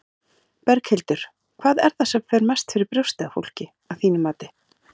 Berghildur: Hvað er það sem mest fer fyrir brjóstið á fólki, að þínu mati?